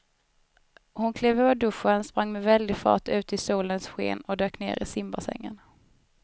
Hon klev ur duschen, sprang med väldig fart ut i solens sken och dök ner i simbassängen.